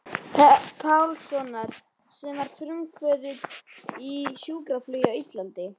Pálssonar sem var frumkvöðull í sjúkraflugi á Íslandi.